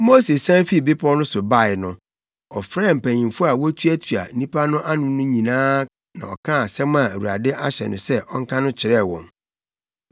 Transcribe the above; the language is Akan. Mose sian fii bepɔw no so bae no, ɔfrɛɛ mpanyimfo a wotuatua nnipa no ano nyinaa na ɔkaa asɛm a Awurade ahyɛ no sɛ ɔnka no kyerɛɛ wɔn.